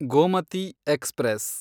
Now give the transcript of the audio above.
Gomti express